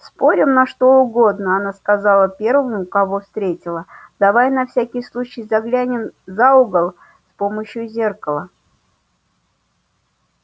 спорим на что угодно она сказала первому кого встретила давай на всякий случай заглянем за угол с помощью зеркала